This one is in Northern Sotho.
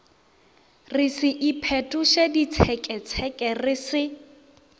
re se iphetošeditseketseke re se